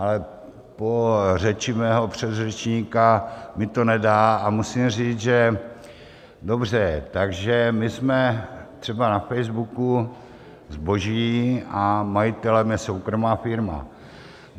Ale po řeči mého předřečníka mi to nedá a musím říct, že - dobře, takže my jsme třeba na Facebooku zboží a majitelem je soukromá firma.